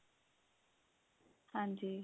ਹਾਂਜੀ